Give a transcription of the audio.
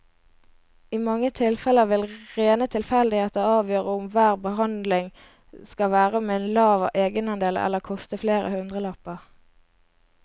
I mange tilfeller vil rene tilfeldigheter avgjøre om hver behandling skal være med lav egenandel eller koste flere hundrelapper.